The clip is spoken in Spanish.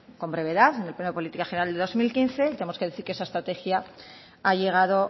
con brevedad en el pleno de política general del dos mil quince tenemos que decir que esa estrategia ha llegado